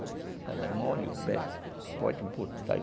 Ela é mole, o pé pode botar e